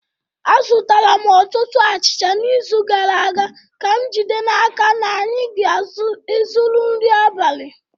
Azụtara m ọtụtụ achịcha n’izu gara aga ka m jide n’aka na anyị ga-ezuru nri abalị.